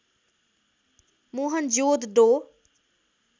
Mohenjo-daro